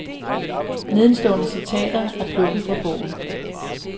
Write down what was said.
Nedenstående citater er plukket fra bogen.